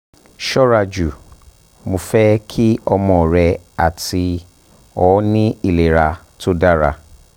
ṣọraju mo fẹ ki ọmọ rẹ ati ọ ni ilera to dara